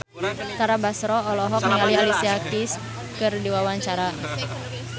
Tara Basro olohok ningali Alicia Keys keur diwawancara